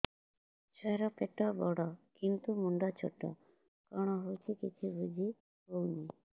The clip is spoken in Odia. ଛୁଆର ପେଟବଡ଼ କିନ୍ତୁ ମୁଣ୍ଡ ଛୋଟ କଣ ହଉଚି କିଛି ଵୁଝିହୋଉନି